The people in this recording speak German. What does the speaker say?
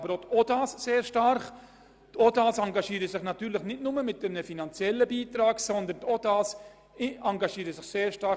Aber auch die Organisationen der Arbeitswelt (OdA) tun dies sehr stark: